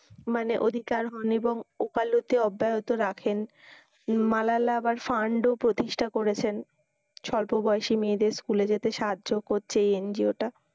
মানে অধিকার এবং ওকালতি অব্যাহত রাখেন। মালালা আবার fund ও প্রতিষ্ঠা করেছেন, স্বল্প বয়সী মেয়েদের school এ যেতে সাহায্য করছে এই NGO টা।